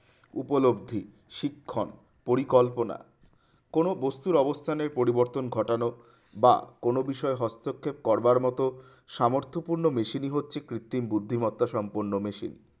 উপলব্ধি শিক্ষণ পরিকল্পনা কোন বস্তুর অবস্থানের পরিবর্তন ঘটানো বা কোন বিষয়ে হস্তক্ষেপ করবার মতো সামর্থ পূর্ণ machine ই হচ্ছে কৃত্রিম বুদ্ধিমত্তা সম্পন্ন machine